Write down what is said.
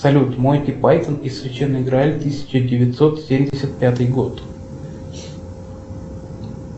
салют монти пайтон и священный грааль тысяча девятьсот семьдесят пятый год